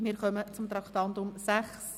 Wir kommen zu Traktandum 6: